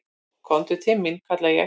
"""Komdu til mín, kalla ég."""